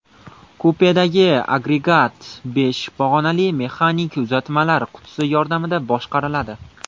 Kupedagi agregat besh pog‘onali mexanik uzatmalar qutisi yordamida boshqariladi.